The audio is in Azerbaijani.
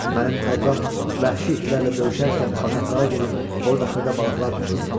Mənim tayfam vəhşi itlərlə döyüşərkən bataqlığa gedib orda xırda balıqlar tutum?